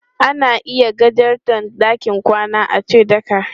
Ana iya gajarta ɗakin kwana ace ɗaka.